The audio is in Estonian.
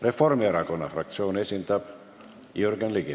Reformierakonna fraktsiooni esindab Jürgen Ligi.